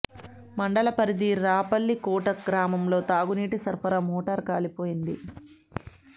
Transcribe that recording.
మండల పరిధి రాపల్లికోట గ్రామంలో తాగునీటి సరఫరా మోటార్ కాలిపోయింది